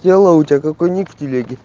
тело у тебя как у них в телеге